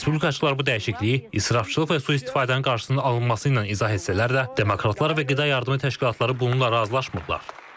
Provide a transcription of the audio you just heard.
Respublikaçılar bu dəyişikliyi israfçılıq və sui-istifadənin qarşısının alınması ilə izah etsələr də, demokratlar və qida yardımı təşkilatları bununla razılaşmırlar.